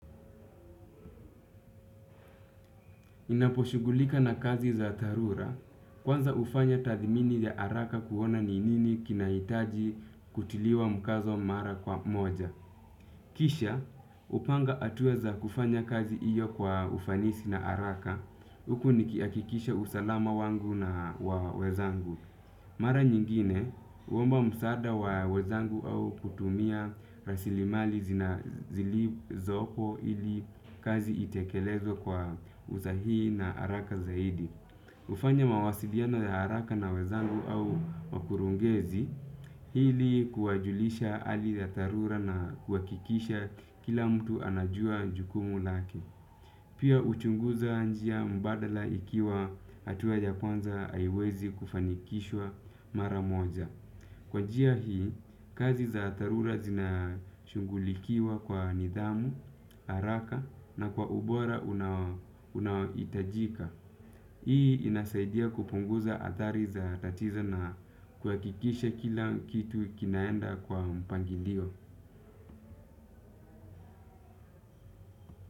Ninapo shughulika na kazi za dharura, kwanza hufanya tathmini ya haraka kuona ni nini kinahitaji kutiliwa mkazo mara kwa moja. Kisha, hupanga hatua za kufanya kazi hiyo kwa ufanisi na haraka, huku nikihakikisha usalama wangu na wa wenzangu. Mara nyingine, huomba msaada wa wenzangu au kutumia rasilimali zili zopo ili kazi itekelezwe kwa usahihi na haraka zaidi. Hufanya mawasiliano ya haraka na wenzangu au makurungezi, hili kuwajulisha hali za dharura na kuhakikisha kila mtu anajua jukumu lake. Pia huchunguza njia mbadala ikiwa hatua ya kwanza haiwezi kufanikishwa mara moja. Kwa njia hii, kazi za dharura zinashughulikiwa kwa nidhamu, haraka na kwa ubora unaohitajika. Hii inasaidia kupunguza hatari za tatizo na kuhakikisha kila kitu kinaenda kwa mpangilio.